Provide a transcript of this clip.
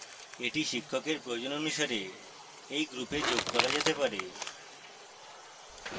এগুলি শিক্ষকের প্রয়োজন অনুসারে এই গ্রুপে যোগ করা যেতে পারে